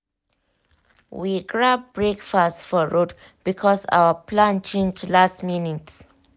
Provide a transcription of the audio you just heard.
we grab breakfast for road because our plan change last minute.